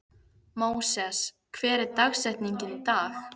Móses, hver er dagsetningin í dag?